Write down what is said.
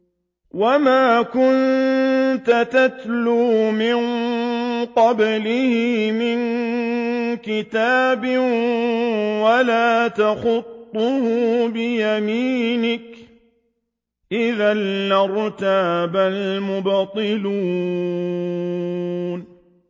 وَمَا كُنتَ تَتْلُو مِن قَبْلِهِ مِن كِتَابٍ وَلَا تَخُطُّهُ بِيَمِينِكَ ۖ إِذًا لَّارْتَابَ الْمُبْطِلُونَ